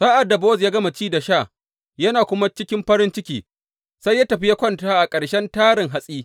Sa’ad da Bowaz ya gama ci da sha yana kuma cikin farin ciki, sai ya tafi ya kwanta a ƙarshen tarin hatsi.